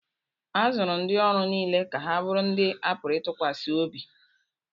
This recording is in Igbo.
a zụrụ ndị ọrụ niile ka ha bụrụ ndị a pụrụ ịtụkwasị obi